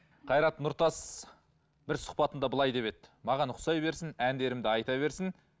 қайрат нұртас бір сұхбатында былай деп еді маған ұқсай берсін әндерімді айта берсін